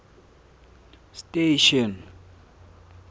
station